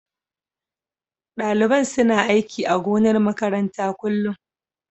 Daliban suna aiki a gonar makaranta kullun.